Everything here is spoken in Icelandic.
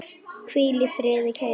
Hvíl í friði, kæri Gunnar.